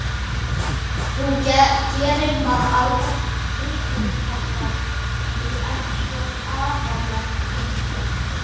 Þú gerir mann alveg drulluhræddan. þú ert svo alvarleg eitthvað.